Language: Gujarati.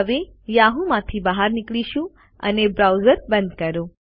હવે યાહૂ માંથી બહાર નીકળીશું અને બ્રાઉઝર બંધ કરો